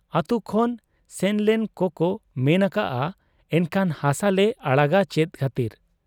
ᱟᱹᱛᱩ ᱠᱷᱚᱱ ᱥᱮᱱᱞᱮᱱ ᱠᱚᱠᱚ ᱢᱮᱱ ᱟᱠᱟᱜ ᱟ ᱮᱱᱠᱷᱟᱱ ᱦᱟᱥᱟᱞᱮ ᱟᱲᱟᱜᱟ ᱪᱮᱫ ᱠᱷᱟᱹᱛᱤᱨ ?